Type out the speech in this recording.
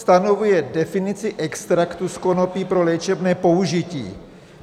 Stanoví definici extraktu z konopí pro léčebné použití.